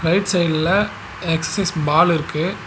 Right சைடுல exercise ball இருக்கு.